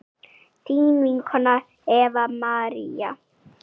þín vinkona Eva María.